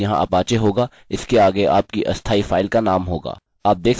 आपके पास यहाँ apache होगा इसके आगे आपकी अस्थायी फाइल का नाम होगा